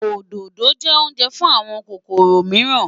Òdòdó jẹ́ oúnjẹ fún àwọn kòkòrò mìíràn.